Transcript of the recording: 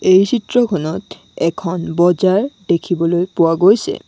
এই চিত্ৰখনত এখন বজাৰ দেখিবলৈ পোৱা গৈছে।